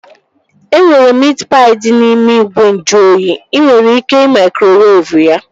E nwere miit paị dị n'ime ìgwè nju oyi. Ị nwere ike ị maikrowevu ya